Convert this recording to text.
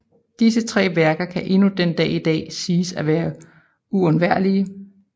Disse tre værker kan endnu den dag i dag siges at være uundværlige